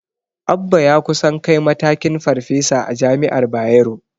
Abba ya kusan kai matakin Farfesa a jami'ar Bayero.